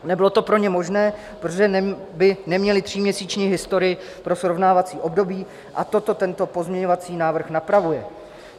Nebylo to pro ně možné, protože by neměli tříměsíční historii pro srovnávací období, a toto tento pozměňovací návrh napravuje.